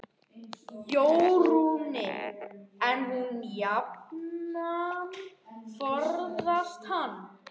Jórunni, en hún jafnan forðast hann.